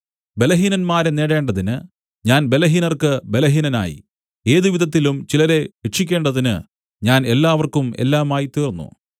ബലഹീനന്മാരെ നേടേണ്ടതിന് ഞാൻ ബലഹീനർക്ക് ബലഹീനനായി ഏതുവിധത്തിലും ചിലരെ രക്ഷിക്കേണ്ടതിന് ഞാൻ എല്ലാവർക്കും എല്ലാമായിത്തീർന്നു